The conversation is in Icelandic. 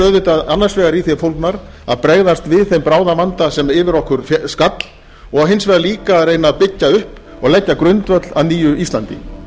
auðvitað annars vegar í þeim fólgnar að bregðast við þeim bráða vanda sem yfir okkur hafa skall og hins vegar líka að reyna að byggja upp og leggja grundvöll að nýju íslandi